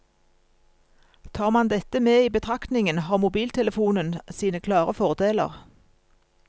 Tar man dette med i betraktningen har mobiltelefonen sine klare fordeler.